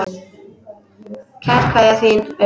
Kær kveðja, þín Auður